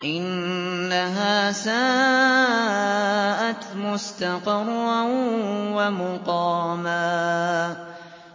إِنَّهَا سَاءَتْ مُسْتَقَرًّا وَمُقَامًا